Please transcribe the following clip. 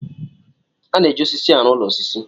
A na-eji osisi arụ ụlọ osisi.